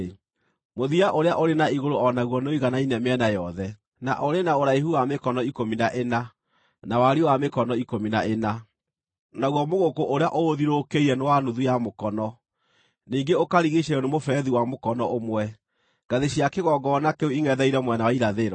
Mũthia ũrĩa ũrĩ na igũrũ o naguo nĩũiganaine mĩena yothe, na ũrĩ na ũraihu wa mĩkono ikũmi na ĩna, na wariĩ wa mĩkono ikũmi na ĩna, naguo mũgũkũ ũrĩa ũũthiũrũrũkĩirie nĩ wa nuthu ya mũkono, ningĩ ũkarigiicĩrio nĩ mũberethi wa mũkono ũmwe. Ngathĩ cia kĩgongona kĩu ingʼetheire mwena wa irathĩro.”